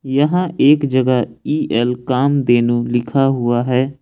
यहां एक जगह इ_एल कामधेनु लिखा हुआ है।